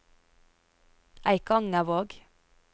Eikangervåg